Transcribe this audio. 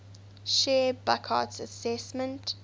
shared burckhardt's assessment